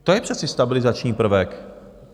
To je přece stabilizační prvek.